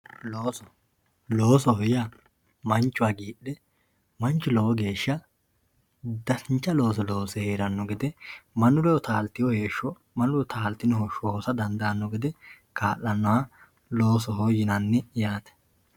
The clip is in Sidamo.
Looso loosoho yaa manchu hagidhe manchu lowo geesha dancha looso loose herano gede manu ledo taltewo heesho manu ledo taltino hosho hosa dandaano gede kaa`lanoha loosoho yinani yaate.